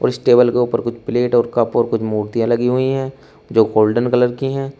और इस टेबल के ऊपर कुछ प्लेट और कप और कुछ मूर्तियां लगी हुई हैं जो गोल्डन कलर की हैं।